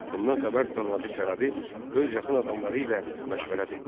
Bundan xəbər tutan Hacı Çələbi öz yaxın adamları ilə məşvərət etdi.